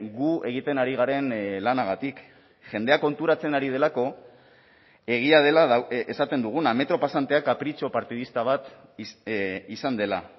gu egiten ari garen lanagatik jendea konturatzen ari delako egia dela esaten duguna metro pasantea kapritxo partidista bat izan dela